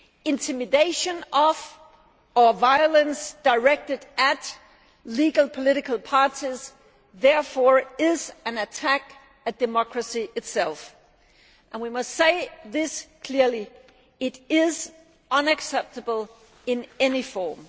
Intimidation of, or violence directed at, legal political parties is therefore an attack on democracy itself, and we must say this clearly it is unacceptable in any form.